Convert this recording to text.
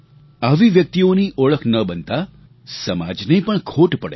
આવી વ્યક્તિઓની ઓળખ ન બનતા સમાજને પણ ખોટ પડે છે